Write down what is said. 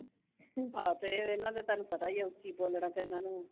ਆਹੋ ਤੇ ਉਹ ਇਨ੍ਹਾਂ ਦਾ ਤੁਹਾਨੂੰ ਪਤਾ ਈ ਆ, ਉੱਚੀ ਬੋਲਣਾ ਤਾਂ ਇਨ੍ਹਾਂ ਨੇ